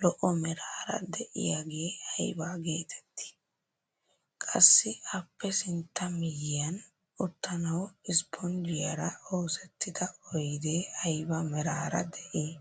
zo'o meraara de'iyaage aybaa getettii? qassi appe sintta miyiyaan uttanwu isponjjiyaara oosettida oydee ayba meraara de'ii?